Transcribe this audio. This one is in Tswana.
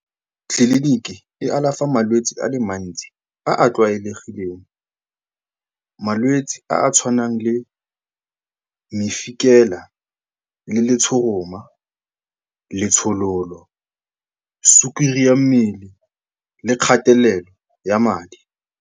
Tliliniki e alafa malwetsi a le mantsi a a tlwaelegileng. Malwetse a a tshwanang le mefikela, le letshoroma, letshololo, sukiri ya mmele le kgatelelo ya madi.